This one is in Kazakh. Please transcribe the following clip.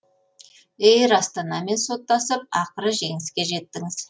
эйр астанамен соттасып ақыры жеңіске жеттіңіз